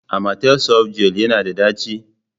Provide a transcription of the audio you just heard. Amatel softgel yana da ɗaci?